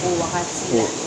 O wagati la o